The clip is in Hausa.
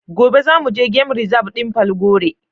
Gobe za mu je gan rizab din Falgore.